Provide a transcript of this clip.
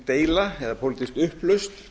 deila eða pólitísk upplausn